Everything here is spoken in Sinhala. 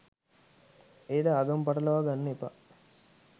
එයට ආගම පටලවා ගන්න එපා.